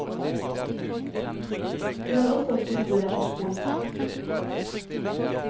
Vi har også tilbud etter skoletid.